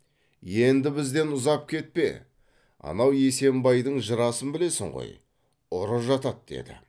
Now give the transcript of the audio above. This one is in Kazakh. енді бізден ұзап кетпе анау есембайдың жырасын білесің ғой ұры жатады деді